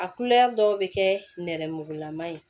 A kulɛri dɔw bɛ kɛ nɛrɛmugumalama ye